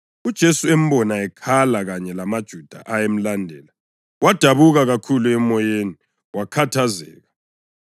UJesu embona ekhala kanye lamaJuda ayemlandele wadabuka kakhulu emoyeni, wakhathazeka.